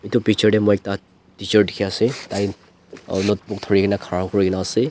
edu picture tae moi ekta teacher dikhiase tai notebook dhurikae na khara kurina ase.